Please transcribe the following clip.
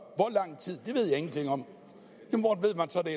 om hvor